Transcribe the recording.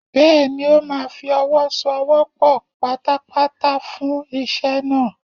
Bẹ́ẹ̀ni, ó máa fi ọwọ́ so ọwọ́ pọ̀ pátápátá fún iṣẹ́ náà.